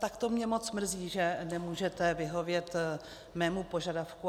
Tak to mě moc mrzí, že nemůžete vyhovět mému požadavku.